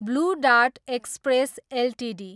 blue dart express Ltd